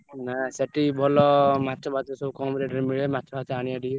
ନାଁ ସେଠୀ ଭଲ ମାଛ ଫାଛ ଭଲ କମ rate ରେ ମିଳେ ମାଛ ଫାଛ ଆଣିବା ଟିକେ।